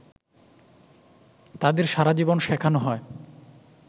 তাদের সারাজীবন শেখানো হয়